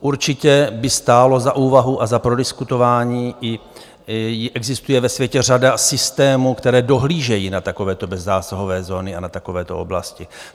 Určitě by stálo za úvahu a za prodiskutování, existuje ve světě řada systémů, které dohlížejí na takovéto bezzásahové zóny a na takovéto oblasti.